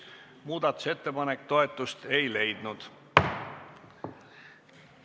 Muudatusettepanek toetust ei leidnud.